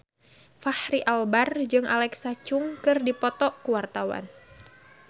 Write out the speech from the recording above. Fachri Albar jeung Alexa Chung keur dipoto ku wartawan